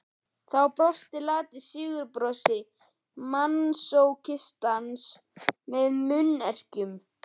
Þá brosti lati sigurbrosi masókistans með munnherkjum.